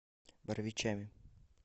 боровичами